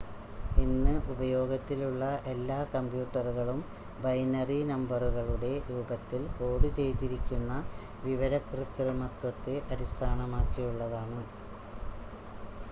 ഇന്ന് ഉപയോഗത്തിലുള്ള എല്ലാ കമ്പ്യൂട്ടറുകളും ബൈനറി നമ്പറുകളുടെ രൂപത്തിൽ കോഡ് ചെയ്തിരിക്കുന്ന വിവര കൃത്രിമത്വത്തെ അടിസ്ഥാനമാക്കിയുള്ളതാണ്